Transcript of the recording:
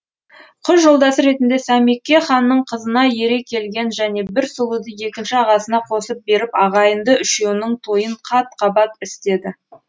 қыз жолдасы ретінде сәмеке ханның қызына ере келген және бір сұлуды екінші ағасына қосып беріп ағайынды үшеуінің тойын қат қабат істеді